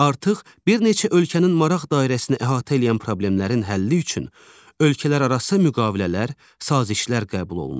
Artıq bir neçə ölkənin maraq dairəsini əhatə eləyən problemlərin həlli üçün ölkələrarası müqavilələr, sazişlər qəbul olunur.